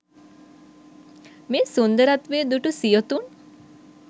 මේ සුන්දරත්වය දුටු සියොතුන්